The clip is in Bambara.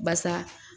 Basa